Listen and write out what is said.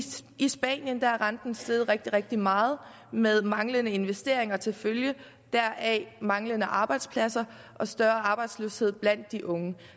i spanien er renten steget rigtig rigtig meget med manglende investeringer til følge og deraf manglende arbejdspladser og større arbejdsløshed blandt de unge